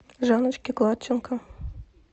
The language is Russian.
жанночке гладченко